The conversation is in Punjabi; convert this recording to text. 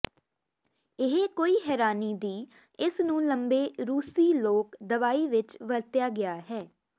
ਇਹ ਕੋਈ ਹੈਰਾਨੀ ਦੀ ਇਸ ਨੂੰ ਲੰਬੇ ਰੂਸੀ ਲੋਕ ਦਵਾਈ ਵਿਚ ਵਰਤਿਆ ਗਿਆ ਹੈ